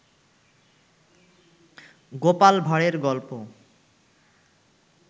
গোপাল ভাড়ের গল্প